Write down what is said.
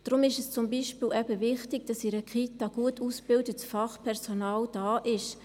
Deshalb ist es zum Beispiel eben wichtig, dass in einer Kita gut ausgebildetes Fachpersonal arbeitet.